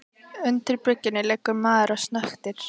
Undir bryggjunni liggur maður og snöktir.